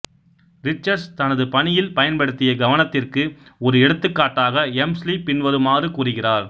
Richards தனது பணியில் பயன்படுத்திய கவனத்திற்கு ஒரு எடுத்துக்காட்டாக எம்ஸ்லி பின்வருமாறு கூறுகிறார்